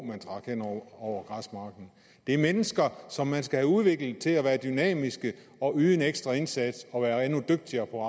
man trak hen over græsmarken det er mennesker som man skal have udviklet til at være dynamiske og yde en ekstra indsats og være endnu dygtigere på